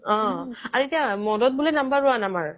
অ' আৰু এতিয়া মদত বোলে number one আমাৰ